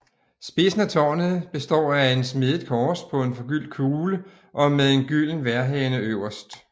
Spidsen af tårnet består af et smedet kors på en forgyldt kugle og med en gylden vejrhane øverst